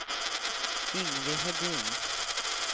Yngve Hedin